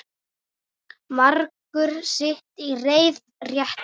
Margur sitt í reiði reitir.